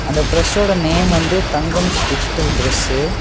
அந்த பிரஸ் ஓட நேம் வந்து தங்கம் டிஜிட்டல் பிரஸு .